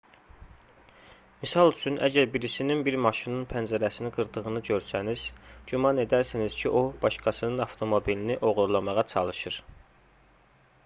misal üçün əgər birisinin bir maşının pəncərəsini qırdığını görsəniz güman edərsiniz ki o başqasının avtomobilini oğurlamağa çalışır